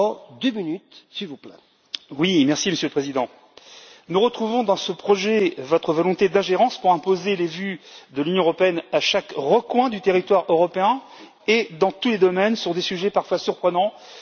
Monsieur le Président, nous retrouvons dans ce projet votre volonté d'ingérence pour imposer les vues de l'Union européenne dans chaque recoin du territoire européen et dans tous les domaines sur des sujets parfois surprenants auxquels on ne penserait pas de prime abord.